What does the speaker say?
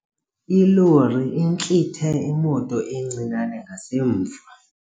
Ilori intlithe imoto encinane ngasemva.